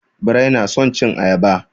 Birai na son cin ayaba.